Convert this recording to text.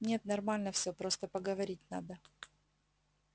нет нормально всё просто поговорить надо